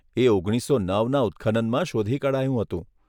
એ ઓગણીસસો નવના ઉત્ખનનમાં શોધી કઢાયું હતું.